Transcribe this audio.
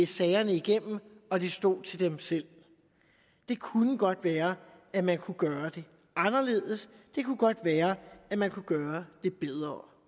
sagerne igennem og det stod til dem selv det kunne godt være at man kunne gøre det anderledes det kunne godt være at man kunne gøre det bedre